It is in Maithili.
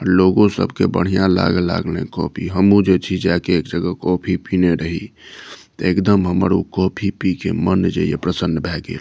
लोगो सब के बढ़िया लागे लागले कॉफी हमू जे छी जाय के एक जगह कॉफी पिना रही ते एकदम हमर ऊ कॉफी पी के मन जे या प्रसन्न भ गेल।